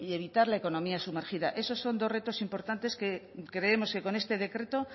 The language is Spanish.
evitar la economía sumergida eso son dos retos importantes que creemos que con este decreto